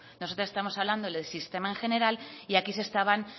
nosotras estamos hablando del sistema en general y aquí se estaban